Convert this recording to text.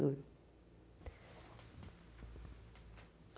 Duro.